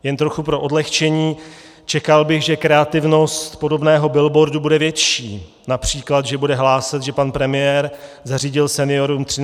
Jen trochu pro odlehčení: Čekal bych, že kreativnost podobného billboardu bude větší, například že bude hlásat, že pan premiér zařídil seniorům 13. důchod.